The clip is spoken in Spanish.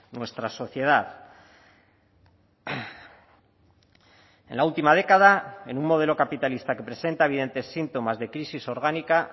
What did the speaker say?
nuestra sociedad en la última década en un modelo capitalista que presenta evidentes síntomas de crisis orgánica